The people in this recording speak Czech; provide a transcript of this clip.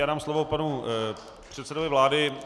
Já dám slovo panu předsedovi vlády.